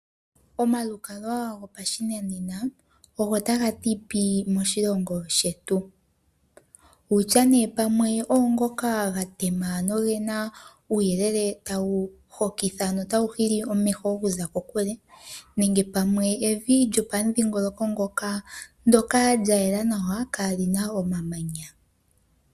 Omalukalwa gopashinanena ogo taga ti pii moshilongo shetu. Wutya nee pamwe oongoka ga tema nogena uuyelele ta wu hokitha nota wu hili omeho oku za kokule, nenge pamwe evi lyopamudhingoloko ngoka ndyoka lya yela nawa kaalina omamanya.